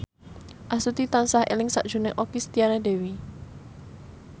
Astuti tansah eling sakjroning Okky Setiana Dewi